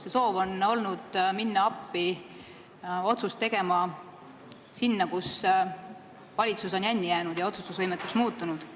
See soov on olnud appi minna sinna, kus valitsus on jänni jäänud ja otsustusvõimetuks muutunud.